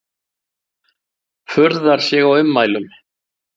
Furðar sig á ummælum